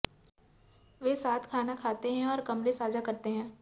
वे साथ खाना खाते हैं और कमरे साझा करते हैं